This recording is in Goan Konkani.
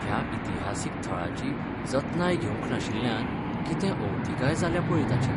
ह्या इतिहासीक थळाची जतनाय घेवंक नाशिल्ल्यान कितें अवतिकाय जाल्या पळय ताची.